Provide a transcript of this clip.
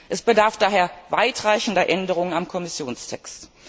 Es bedarf daher weitreichender Änderungen am Kommissionstext.